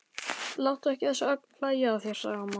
Láttu ekki þessa ögn hlæja að þér, sagði amma.